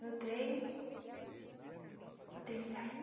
no trem. O trem saindo